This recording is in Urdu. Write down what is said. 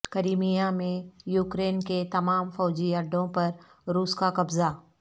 کریمیا میں یوکرین کے تمام فوجی اڈوں پر روس کا قبضہ